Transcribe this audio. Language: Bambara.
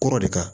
Kɔrɔ de kan